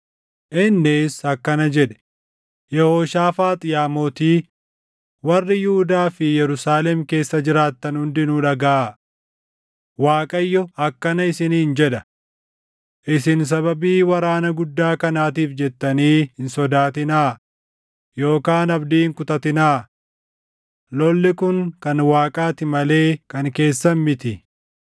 Innis akkana jedhe; “Yehooshaafaax yaa mootii, warri Yihuudaa fi Yerusaalem keessa jiraattan hundinuu dhagaʼaa! Waaqayyo akkana isiniin jedha: ‘Isin sababii waraana guddaa kanaatiif jettanii hin sodaatinaa yookaan abdii hin kutatinaa. Lolli kun kan Waaqaa ti malee kan keessan miti.